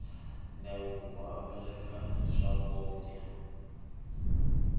ndyelo ku phameriwa ka yona swakudya